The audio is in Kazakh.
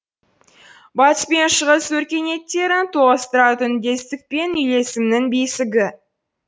батыс пен шығыс өркениеттерін тоғыстыратын үндестік пен үйлесімнің бесігі